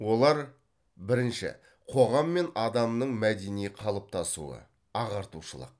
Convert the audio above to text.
олар бірінші қоғам мен адамның мәдени қалыптасуы ағартушылық